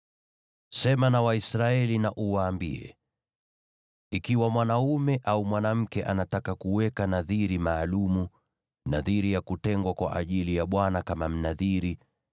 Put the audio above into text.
“Sema na Waisraeli na uwaambie: ‘Ikiwa mwanaume au mwanamke anataka kuweka nadhiri maalum, nadhiri ya kutengwa kwa ajili ya Bwana kama Mnadhiri,